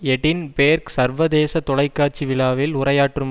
Edinburgh சர்வதேச தொலைக்காட்சி விழாவில் உரையாற்றும்